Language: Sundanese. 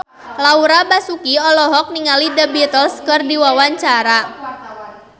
Laura Basuki olohok ningali The Beatles keur diwawancara